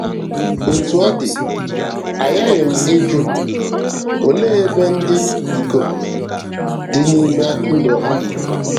Otú ọ dị, aghaghị m ịjụ, òlee ebe ndị ikom dị n’ime ndụ ha?